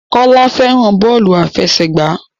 Kọ́lá fẹ́ràn bọ́ọ́lù aláfẹsẹ̀gbá.